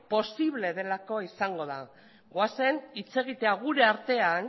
posible delako izango da goazen hitz egitera gure artean